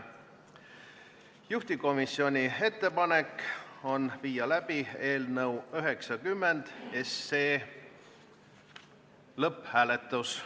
Juhtivkomisjoni ettepanek on viia läbi eelnõu 90 lõpphääletus.